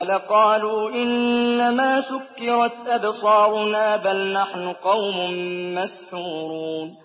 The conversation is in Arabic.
لَقَالُوا إِنَّمَا سُكِّرَتْ أَبْصَارُنَا بَلْ نَحْنُ قَوْمٌ مَّسْحُورُونَ